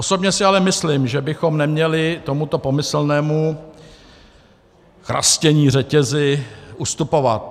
Osobně si ale myslím, že bychom neměli tomuto pomyslnému chrastění řetězy ustupovat.